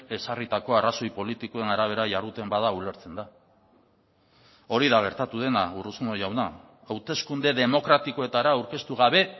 ezarritako arrazoi politikoen arabera jarduten bada ulertzen da hori da gertatu dena urruzuno jauna hauteskunde demokratikoetara aurkeztu gabe